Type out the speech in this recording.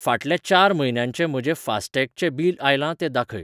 फाटल्या चार म्हयन्यांचें म्हजे फास्टॅग चें बिल आयलां तें दाखय.